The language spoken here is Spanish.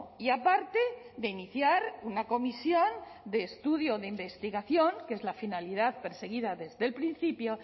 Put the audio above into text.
y aparte de iniciar una comisión de estudio o de investigación que es la finalidad perseguida desde el principio